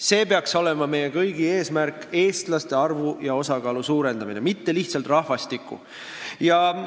See peaks olema meie kõigi eesmärk – eestlaste arvu ja osakaalu, mitte lihtsalt rahvastiku suurendamine.